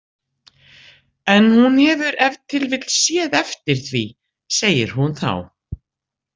En hún hefur ef til vill séð eftir því, segir hún þá.